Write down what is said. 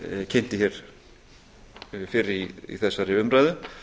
kynnti hér fyrr í þessari umræðu